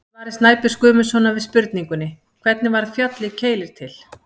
Í svari Snæbjörns Guðmundssonar við spurningunni: Hvernig varð fjallið Keilir til?